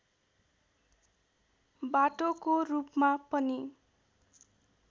बाटोको रूपमा पनि